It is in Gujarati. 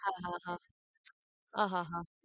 હા હા આહ